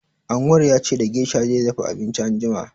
Anwar ya ce da gesha zai dafa abinci anjima.